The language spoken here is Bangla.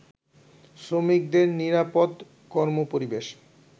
শ্রমিকদের নিরাপদ কর্মপরিবেশ